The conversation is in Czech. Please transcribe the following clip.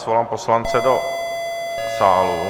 Svolám poslance do sálu.